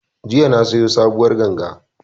Jiya na siyo sabuwar ganga